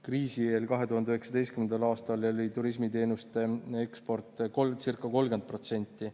Kriisi eel, 2019. aastal oli turismiteenuste osakaal teenuste ekspordist ca 30%.